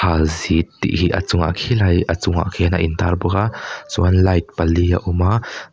pal zit tih hi a chung ah khilai a chungah khian a in tar bawk a chuanin light pali a awm a.